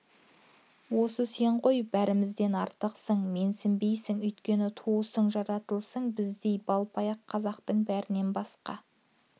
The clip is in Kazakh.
осы сен ғой бәрімізден артықсың менсінбейсің өйткені туысың жаратылысың біздей балпаяақ қазақтың бәрінен басқа